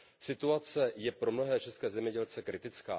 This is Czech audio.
Situace je pro mnohé české zemědělce kritická.